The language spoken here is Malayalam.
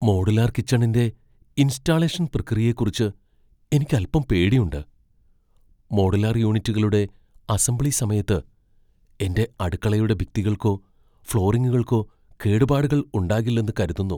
മോഡുലാർ കിച്ചണിന്റെ ഇൻസ്റ്റാളേഷൻ പ്രക്രിയയെക്കുറിച്ച് എനിക്ക് അൽപ്പം പേടിയുണ്ട് . മോഡുലാർ യൂണിറ്റുകളുടെ അസംബ്ലി സമയത്ത് എന്റെ അടുക്കളയുടെ ഭിത്തികൾക്കോ ഫ്ലോറിങ്ങുകൾക്കോ കേടുപാടുകൾ ഉണ്ടാകില്ലെന്ന് കരുതുന്നു.